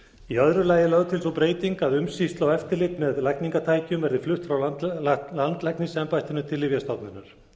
í öðru lagi er lögð til sú breyting að umsýsla og eftirlit með lækningatækjum verði flutt frá landlæknisembættinu til lyfjastofnunar